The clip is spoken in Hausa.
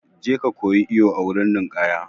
Je ka koyi iwo a wurin ninkaya!